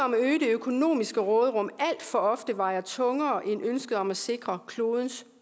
økonomiske råderum alt for ofte vejer tungere end ønsket om at sikre klodens